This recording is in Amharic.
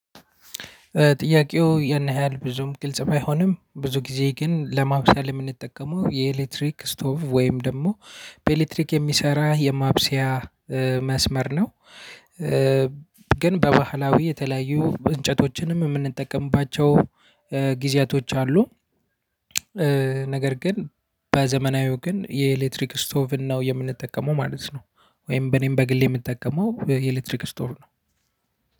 ጥያቄው ያን ያህል ብዙም ግልጽ ባይሆንም ብዙ ጊዜ ግን ለማብሰል የምንጠቀመው የኤሌክትሪክ ስቶቭ ወይም ደግሞ በኤሌክትሪክ የሚሰራ የማብሰያ መስመር ነው። ግን በባህላዊ የተለያዩ እንጨቶችንም የምንጠቀምባቸው ጊዜያቶች አሉ። ነገር ግን በዘመናዊው ግን የኤሌክትሪክ ስቶቭን ነው የምንጠቀመው ማለት ነው። ወይም በኔም በግሌ የምጠቀመው የኤሌክትሪክ ስቶቭ ነው።